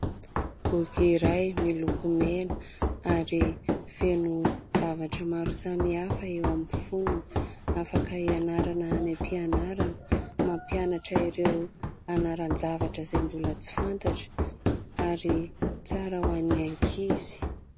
Boky iray miloko mena ary feno zavatra maro samihafa eo amin'ny foniny. Afaka hianarana any am-pianarana mampianatra ireo anaran-javatra izay mbola tsy fantatra ary tsara ho an'ny ankizy.